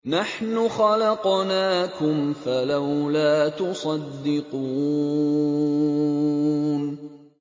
نَحْنُ خَلَقْنَاكُمْ فَلَوْلَا تُصَدِّقُونَ